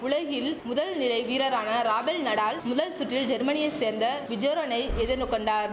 உலகில் முதல் நிலை வீரரான ராபெல் நடால் முதல் சுற்றில் ஜெர்மனியை சேர்ந்த விஜோரனை எதின்னு கொண்டார்